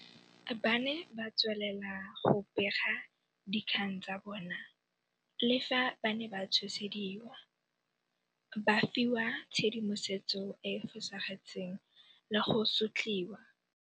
Ba ne ba tswelela go bega dikgang tsa bona le fa ba ne ba tshosediwa, ba fiwa tshedimosetso e e fosagetseng le go sotliwa.